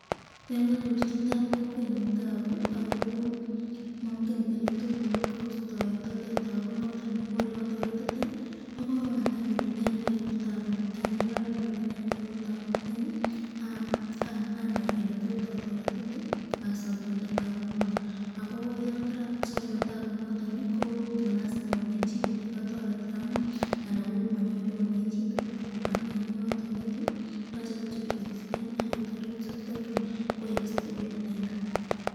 Yon kanyor chitab kokwenyun tabu ako mangen eletot kostaitaken tabu nondon ii, ko elatoretite ko korong anai ale nee ni kaibu tabu nondon ak yeitya achenge ortinwet chetot atareten inendet ,yekarotoret inendet ii ,ko matamwaitata ale kataret, aka make sure ale kaek stable inendet.